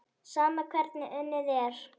Sama hvernig unnið er.